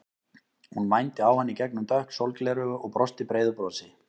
Hún mændi á hann í gegnum dökk sólgleraugu og brosti breiðu brosi.